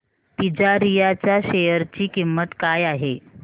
तिजारिया च्या शेअर ची किंमत काय आहे